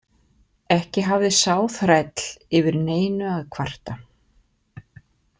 Ekki hafði sá þræll yfir neinu að kvarta.